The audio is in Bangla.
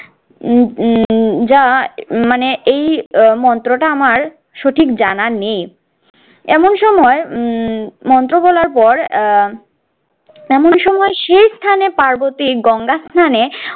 উহ উহ যা মানে এই মন্ত্রটা আমার সঠিক জানা নেই। এমন সময় উহ মন্ত্র বলার পর আহ এমন সময় সেই স্থানে পার্বতী গঙ্গাস্নানে